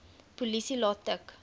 polisie laat tik